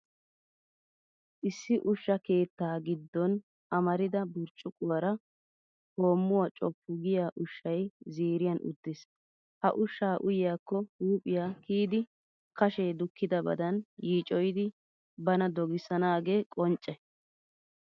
Issi ushsha keettaa giddon amarida burccuqquwaara hoommuwaa coofu giya ushshay ziiriyan uttiis. Ha ushshaa uyiyaakko huuphiyaa kiyidi, kashee dukkidabadan yiicoyidi bana dogissanaagee qoncce.